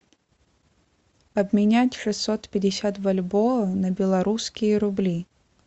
обменять шестьсот пятьдесят бальбоа на белорусские рубли